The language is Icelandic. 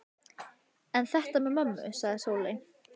En þetta með mömmu, sagði Sóley.